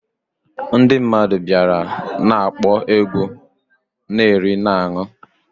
Ndi mmadu biara na-akpo egwu, na eri na ańụ